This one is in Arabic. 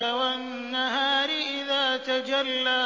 وَالنَّهَارِ إِذَا تَجَلَّىٰ